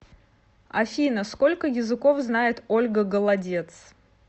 афина сколько языков знает ольга голодец